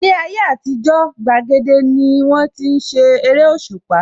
Ní ayé àtijó, gbàgede ní wón ti ń ṣe eréṣùpá